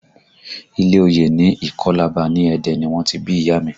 Ilé oyè ní ìkọ́làbà ní Ẹdẹ ni wọ́n ti bí ìyá a mi